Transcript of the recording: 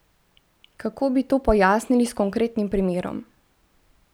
Kako bi to pojasnili s konkretnim primerom?